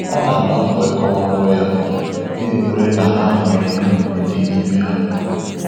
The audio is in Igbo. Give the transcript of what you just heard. Ọ na-agba mbọ ịkọwa nrọ ya, na-ekwere na ha nwere ihe omimi dị n’ime ha.